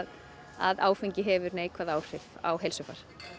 að áfengi hefur neikvæð áhrif á heilsuna